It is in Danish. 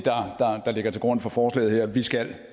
der ligger til grund for forslaget her vi skal